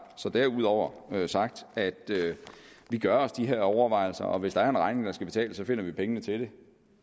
så derudover sagt at vi gør os de her overvejelser og hvis der er en regning der skal betales så finder vi pengene til den